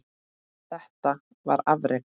Þetta var afrek.